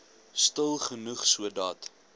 stil genoeg sodat